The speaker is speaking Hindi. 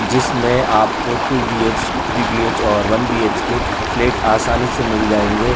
जिसमें आपको टू बीएच थ्री बीएच और वन बीएचके के फ्लैट आसानी से मिल जायेंगे।